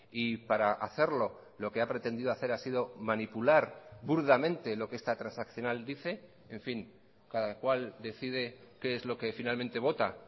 y para hacerlo lo que ha pretendido hacer ha sido manipular burdamente lo que esta transaccional dice en fin cada cual decide qué es lo que finalmente vota